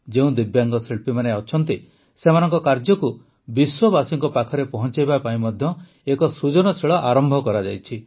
ଯେଉଁ ଦିବ୍ୟାଙ୍ଗ ଶିଳ୍ପୀମାନେ ଅଛନ୍ତି ସେମାନଙ୍କ କାର୍ଯ୍ୟକୁ ବିଶ୍ୱବାସୀଙ୍କ ପାଖରେ ପହଂଚାଇବା ପାଇଁ ମଧ୍ୟ ଏକ ସୃଜନଶୀଳ ଆରମ୍ଭ କରାଯାଇଛି